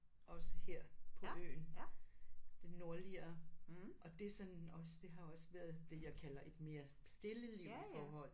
Også her på øen det nordligere og det sådan også det har også være det jeg kalder et mere stille liv i forhold